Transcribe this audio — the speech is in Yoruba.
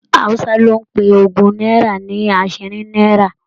Hausa lo n pe ogún náírà ní asinrin náírà.